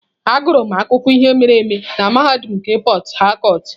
Agụrụ m akụkọ ihe mere eme na mahadum nke Port harcourt.